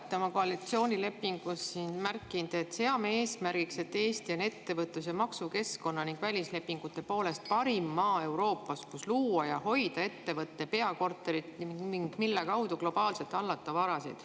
Olete oma koalitsioonilepingus märkinud: "Seame eesmärgiks, et Eesti on ettevõtlus‑ ja maksukeskkonna ning välislepingute poolest parim maa Euroopas, kus luua ja hoida ettevõtte peakorterit ning mille kaudu globaalselt hallata varasid.